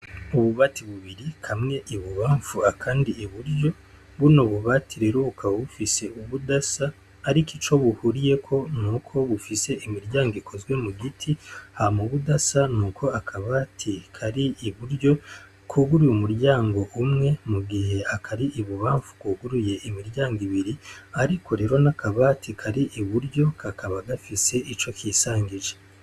Ububati bubiri, kamwe ibubamfu akandi iburyo, buno bubati rero bukaba bufise ubudasa, ariko ico buhuriyeko nuko bufise imiryango ikozwe mu giti, hama ubudasa n'uko akabati kari iburyo kuguruye umuryango umwe, mu gihe akari ibubamfu kuguruye imiryango ibiri, ariko rero n'akabati kari iburyo kakaba gafise ico kisangije.